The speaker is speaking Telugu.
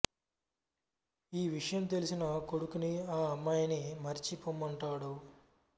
ఈ విషయం తెలిసి కొడుకుని ఆ అమ్మాయిని మరచి పొమ్మంటాడు